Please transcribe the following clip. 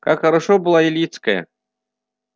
как хорошо была елицкая